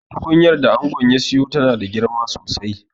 Tukunyar da angon ya siyo tana da girma sosai